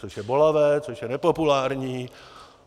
Což je bolavé, což je nepopulární.